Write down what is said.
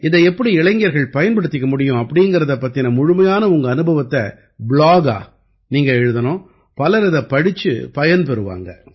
இதை எப்படி இளைஞர்கள் பயன்படுத்திக்க முடியும் அப்ப்டீங்கறதைப் பத்தின முழுமையான உங்க அனுபவத்தை ப்ளாகா நீங்க எழுதணும் பலர் இதைப் படிச்சுப் பயன் பெறுவாங்க